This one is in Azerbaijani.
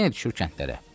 Yenə düşür kəndlərə.